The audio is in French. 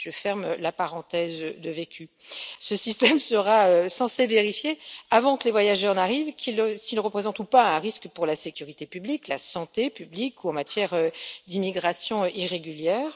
Je ferme la parenthèse de vécu. Ce système sera censé vérifier, avant que les voyageurs n'arrivent, s'ils représentent ou pas un risque pour la sécurité publique, la santé publique ou en matière d'immigration irrégulière.